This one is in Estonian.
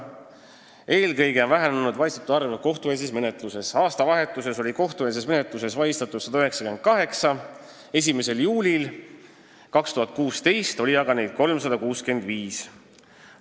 Eelkõige on vähenenud vahistatute arv kohtueelses menetluses: aastavahetusel oli neid 198, 1. juulil 2016. aastal aga 365.